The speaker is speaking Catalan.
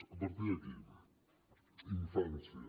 a partir d’aquí infància